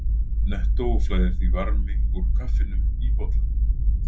Nettó flæðir því varmi úr kaffinu í bollann.